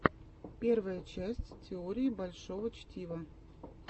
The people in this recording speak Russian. первая часть теории большого чтива